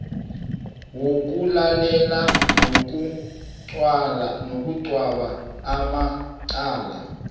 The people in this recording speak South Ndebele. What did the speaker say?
wokulalela nokugweba amacala